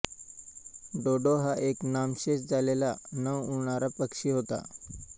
डोडो हा एक नामशेष झालेला न उडणारा पक्षी होता